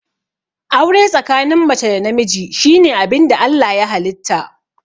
Aure tsakanin mace da namiji shine abinda Allah ya halitta